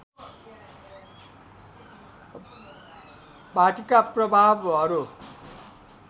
भाँतिका प्रभावहरू